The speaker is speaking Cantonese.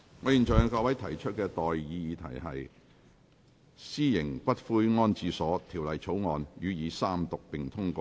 我現在向各位提出的待議議題是：《私營骨灰安置所條例草案》予以三讀並通過。